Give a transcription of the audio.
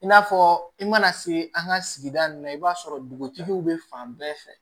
I n'a fɔ i mana se an ka sigida nun na i b'a sɔrɔ dugutigiw bɛ fan bɛɛ fɛ